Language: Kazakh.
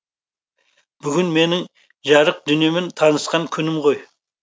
бүгін менің жарық дүниемен танысқан күнім ғой